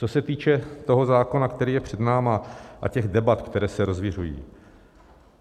Co se týče toho zákona, který je před námi, a těch debat, které se rozviřují.